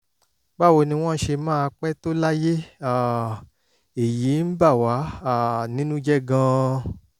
báwo ni wọ́n ṣe máa pẹ́ tó láyé? um èyí ń bà wá um nínú jẹ́ gan-an